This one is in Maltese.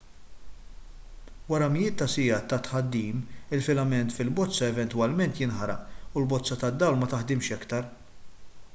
wara mijiet ta' sigħat ta' tħaddim il-filament fil-bozza eventwalment jinħaraq u l-bozza tad-dawl ma taħdimx aktar